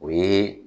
O ye